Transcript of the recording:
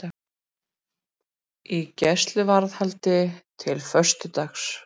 Í gæsluvarðhaldi til föstudags